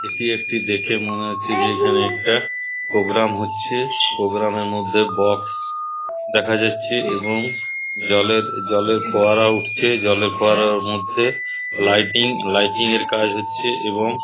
এইটি একটি দেখে মনে হচ্ছে এখনে একটা প্রোগ্রাম হচ্ছে প্রোগ্রাম এর মধ্যে বকস দেখা যাচ্ছে এবং জলের জলের ফোয়ারা উঠছে জলের ফোয়ারার মধ্যে লাইটিং এর কাজ হচ্ছে এবং--